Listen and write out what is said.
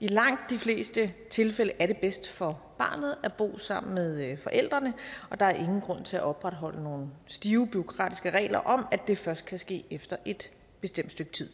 i langt de fleste tilfælde er det bedst for barnet at bo sammen med forældrene og der er ingen grund til at opretholde nogle stive bureaukratiske regler om at det først kan ske efter et bestemt stykke tid